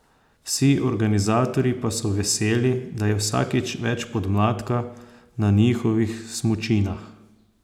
Vsi organizatorji pa so veseli, da je vsakič več podmladka na njihovih smučinah.